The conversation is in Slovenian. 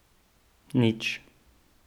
Nič.